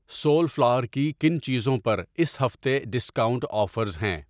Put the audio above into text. Civil flower کی کن چیزوں پر اس ہفتے ڈسکاؤنٹ آفرز ہیں؟